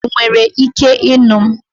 Ị nwere ike ịnụ m?